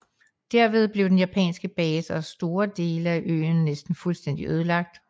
Derved blev den japanske base og store dele af øen næsten fuldstændig ødelagt